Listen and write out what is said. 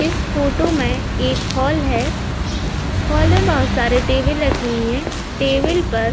इस फोटो मैं एक हॉल है। हॉल में बहोत सारे टेबिल रखी हैं। टेबल पर --